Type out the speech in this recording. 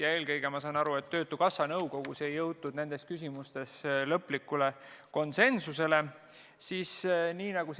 Ja eelkõige, nagu ma aru saan, ei jõutud nendes küsimustes lõplikule konsensusele töötukassa nõukogus.